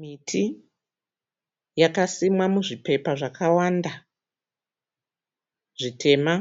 Miti yakasimwa muzvipepa zvakawanda zvitema.